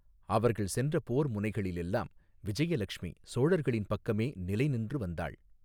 அவர்கள் சென்ற போர் முனைகளிளெல்லாம் விஜயலக்ஷ்மி சோழர்களின் பக்கமே நிலைநின்று வந்தாள்.